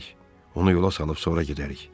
Onu yola salıb sonra gedərik.